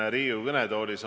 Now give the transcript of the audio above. Aga minu küsimus.